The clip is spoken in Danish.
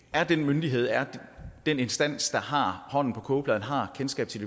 er den myndighed er den instans der har hånden på kogepladen har kendskab til